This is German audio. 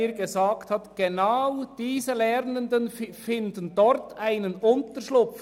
Genau diese Lernenden finden in Hünibach einen Unterschlupf.